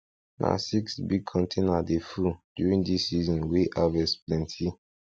na six big container dey full during this season wey harvest plenty